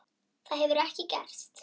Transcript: Það hefur ekki gerst.